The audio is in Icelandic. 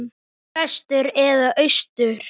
Vestur eða austur?